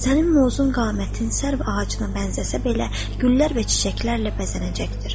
Sənin uzun qamətin sərv ağacına bənzəsə belə, güllər və çiçəklərlə bəzənəcəkdir.